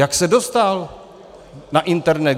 Jak se dostal na internet?